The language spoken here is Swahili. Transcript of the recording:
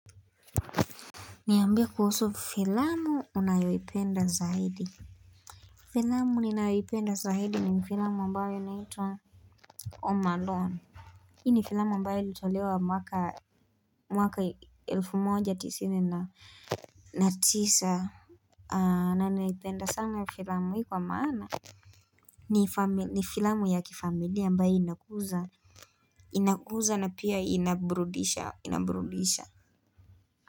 Niambie kuhusu filamu unayoipenda zaidi Filamu ninayoipenda zaidi ni filamu ambayo inaitwa Omalon. Hii ni filamu ambayo ilitolewa maka mwaka elfu moja tisini na tisa aaah na naipenda sana filamu hii kwa maana ni fami ni filamu ya kifamilia ambayo inakuza inakuza na pia inabrudisha inaburudisha.